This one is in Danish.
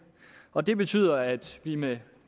og det betyder at vi med